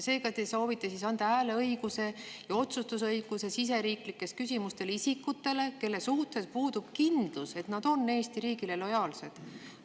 Seega te soovite anda hääleõiguse ja otsustusõiguse siseriiklike küsimuste puhul isikutele, kelle suhtes puudub kindlus, et nad on Eesti riigile lojaalsed.